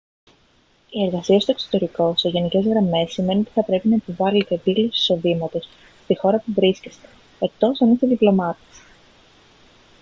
η εργασία στο εξωτερικό σε γενικές γραμμές σημαίνει ότι θα πρέπει να υποβάλετε δήλωση εισοδήματος στη χώρα που βρίσκεστε εκτός εάν είστε διπλωμάτης